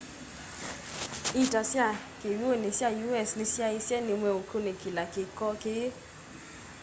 ita sya kiwuni sya us ni syaisye ni meukunikilaa kiko kii